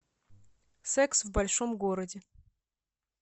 секс в большом городе